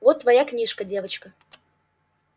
вот твоя книжка девочка